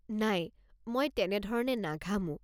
নাই, মই তেনেধৰণে নাঘামো।